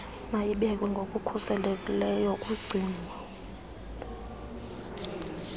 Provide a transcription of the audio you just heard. mayibekwe ngokukhuselekileyo kugcino